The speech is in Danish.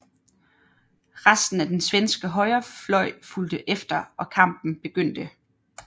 Resten af den svenske højrefløj fulgte efter og kampen begyndte